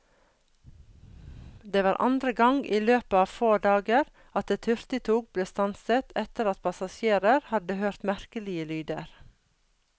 Det var andre gang i løpet av få dager at et hurtigtog ble stanset etter at passasjerer hadde hørt merkelige lyder.